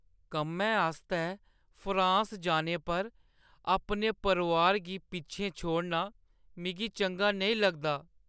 कम्मै आस्तै फ्रांस जाने पर अपने परोआर गी पिच्छें छोड़ना मिगी चंगा नेईं लगदा।